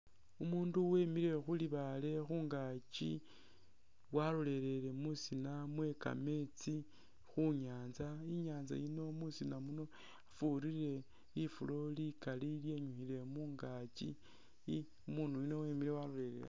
Umuundu wemile khu libaale khungaaki walolelele musina we kameetsi khu nyaanza. I'nyaanza yino musina muno mwafurire lifulo lili likali lyenyukhile mungaaki, umuunu yuno wemile walolelele.